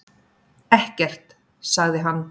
Ekkert, sagði hann.